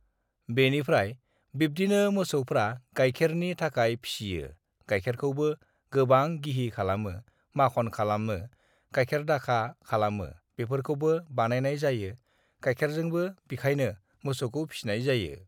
बेनिफ्राय बि्दिनो मोसौफ्रा गायखेरनि थाखाय फिसियो गायखेरखौबो uhh गोबां uhh गिहि खालामो माख'न खालामो गायखेर दाखा खालामो बेफोरखौबो बानायनाय जायो गायखेरजोंबो बिखायनो मोसौखौ फिसिनाय जायो